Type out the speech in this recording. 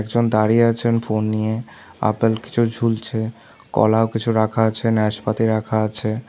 একজন দাঁড়িয়ে আছেন ফোন নিয়ে আপেল কিছু ঝুলছে কলাও কিছু রাখা আছে ন্যাসপাতি রাখা আছে।